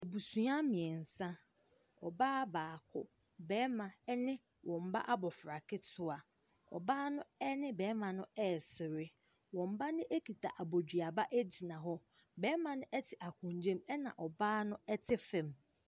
Abusua mmiɛnsa. Ɔbaa baako, barima ne wɔn ba abofra ketewa. Ɔbaa no ne ɔbarima no resere. Wɔn ba no kita abodua ba gyina hɔ. Barima no te akonnwa mu na ɔbaa no te fam.